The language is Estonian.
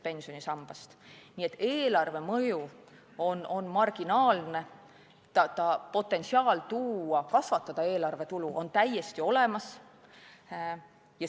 Nii et eelarvemõju on marginaalne, potentsiaal eelarvetulu kasvatada on täiesti olemas.